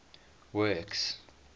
works